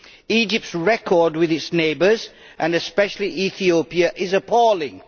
Egypt's record with its neighbours and especially Ethiopia is appalling.